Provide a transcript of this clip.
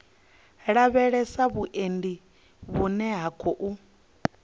lavhelesa vhuendi vhune ha khou